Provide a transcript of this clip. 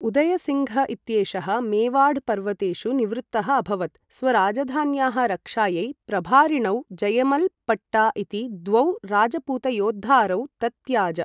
उदय् सिङ्घ् इत्येषः मेवाढ् पर्वतेषु निवृत्तः अभवत्, स्वराजधान्याः रक्षायै प्रभारिणौ जयमल् पट्टा इति द्वौ राजपूतयोद्धारौ तत्याज।